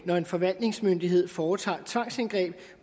når en forvaltningsmyndighed foretager tvangsindgreb